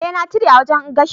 Eh na cire a wajen gashin.